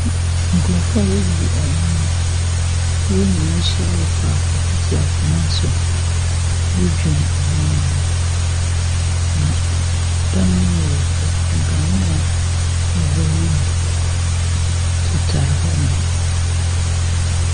Nkorɔfo a wobu ɔman no, wɔn nyinaa ahyia faako tete akonnwa so redwen ɔman ne ho. Na dan ne mu yɛ fɛ, nkanea wowɔ wimu tetare hɔnom.